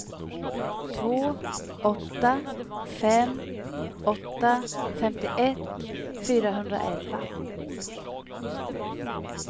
två åtta fem åtta femtioett fyrahundraelva